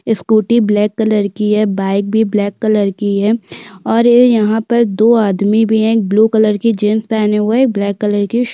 scooty black colour की है bike भी ब्लैक कलर की है और ये यहाँ पर दो आदमी भी है एक ब्लू कलर की जींस पहनी हुये ब्लैक कलर की शर्ट --